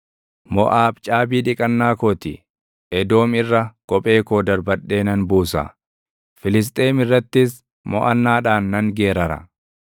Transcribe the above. Moʼaab caabii dhiqannaa koo ti; Edoom irra kophee koo darbadhee nan buusa; Filisxeem irrattis moʼannaadhaan nan geerara.”